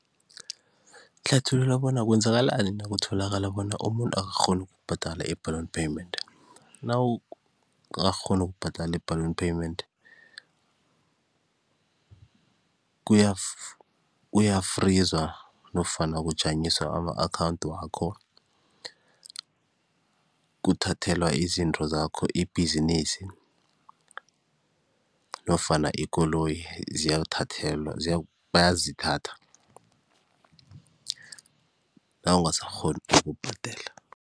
Hlathulula bona kwenzakalani nakutholakala bona umuntu akakghoni ukubhadala i-balloon payment. Nawungakakghoni ukubhadala i-balloon payment, kuyafrizwa nofana kunjanyiswa ama-akhawundi wakho, kuthathelwa izinto zakho ibhizinisi nofana ikoloyi ziyathathelwa bayazithatha nawungasakghoni ukubhadela.